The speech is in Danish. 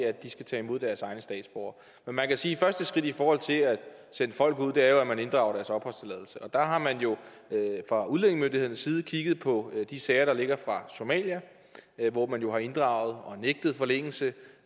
at de skal tage imod deres egne statsborgere men man kan sige første skridt i forhold til at sende folk ud jo er at man inddrager deres opholdstilladelse og der har man fra udlændingemyndighedernes side kigget på de sager der ligger fra somalia hvor man har inddraget eller nægtet forlængelse